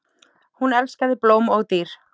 Hún elskaði blóm og dýr.